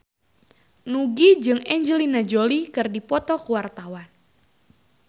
Nugie jeung Angelina Jolie keur dipoto ku wartawan